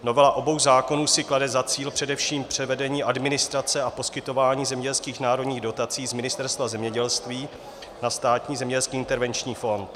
Novela obou zákonů si klade za cíl především převedení administrace a poskytování zemědělských národních dotací z Ministerstva zemědělství na Státní zemědělský intervenční fond.